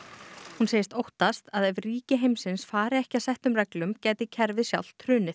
hún segist óttast að ef ríki heimsins fari ekki að settum reglum gæti kerfið sjálft hrunið